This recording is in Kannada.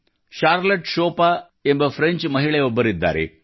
ಷಾರ್ಲೆಟ್ ಶೋಪಾ ಎಂಬ ಫ್ರೆಂಚ್ ಮಹಿಳೆಯೊಬ್ಬರಿದ್ದಾರೆ